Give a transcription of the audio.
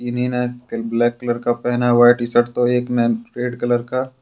किन्ही ने black colour का पहना हुआ है टी शर्ट तो एक ने रेड कलर का।